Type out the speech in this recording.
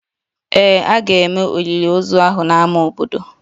Ee, a ga-eme olili ozu ahụ n'ámá obodo